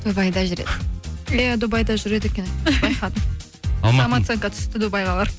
дубайда жүреді иә дубайда жүреді екен самооценка түсті дубайға барып